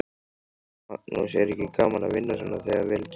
Magnús: Er ekki gaman að vinna svona þegar vel gengur?